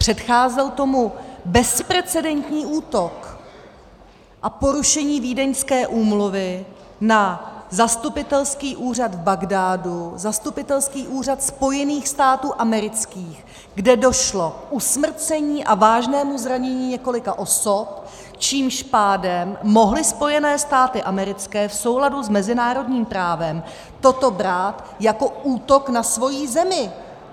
Předcházel tomu bezprecedentní útok a porušení vídeňské úmluvy na zastupitelský úřad v Bagdádu, zastupitelský úřad Spojených států amerických, kde došlo k usmrcení a vážnému zranění několika osob, čímž pádem mohly Spojené státy americké v souladu s mezinárodním právem toto brát jako útok na svoji zemi.